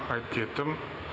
айтып кеттім